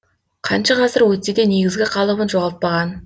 қанша ғасыр өтсе де негізгі қалыбын жоғалтпаған